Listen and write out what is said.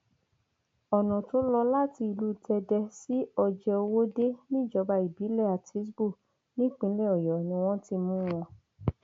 ọnà tó lọ láti ìlú tẹdẹ sí ọjẹòwòde níjọba ìbílẹ àtisbo nípínlẹ ọyọ ni wọn ti mú wọn